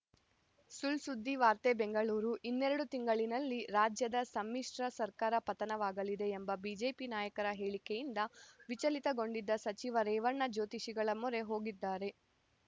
ಸುಳ್‌ಸುದ್ದಿ ವಾರ್ತೆ ಬೆಂಗಳೂರು ಇನ್ನೆರಡು ತಿಂಗಳಿನಲ್ಲಿ ರಾಜ್ಯದ ಸಮ್ಮಿಶ್ರ ಸರ್ಕಾರ ಪತನವಾಗಲಿದೆ ಎಂಬ ಬಿಜೆಪಿ ನಾಯಕರ ಹೇಳಿಕೆಯಿಂದ ವಿಚಲಿತಗೊಂಡಿದ್ದ ಸಚಿವ ರೇವಣ್ಣ ಜ್ಯೋತಿಷಿಗಳ ಮೊರೆ ಹೋಗಿದ್ದಾರೆ